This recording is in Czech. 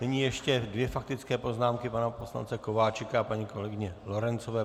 Nyní ještě dvě faktické poznámky pana poslance Kováčika a paní kolegyně Lorencové.